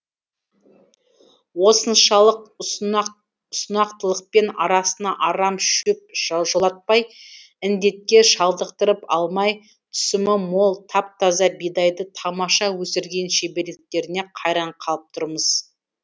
осыншалық ұсынақтылықпен арасына арам шөп жолатпай індетке шалдықтырып алмай түсімі мол тап таза бидайды тамаша өсірген шеберліктеріне қайран қалып тұрмыз